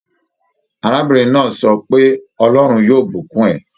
Arábìrin náà sọ pé "Ọlọ́rún yóò bùkún ẹ".